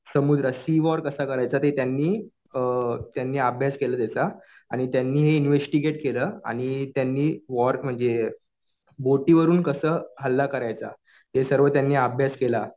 समुद्र sea war कसं करायचं ते त्यांनी अभ्यास केला त्याचा. आणि त्यांनी हे इन्वेस्टीगेट केलं कि त्यांनी वॉर म्हणजे बोटीवरून कसं हल्ला करायचा. हे सर्व त्यांनी अभ्यास केला.